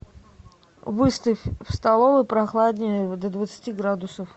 выставь в столовой прохладнее до двадцати градусов